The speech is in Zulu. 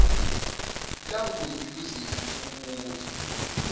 language usage umbuzo